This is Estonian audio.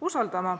usaldama.